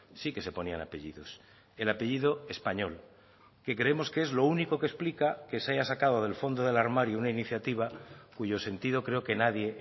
sí que se ponían apellidos el apellido español que creemos que es lo único que explica que se haya sacado del fondo del armario una iniciativa cuyo sentido creo que nadie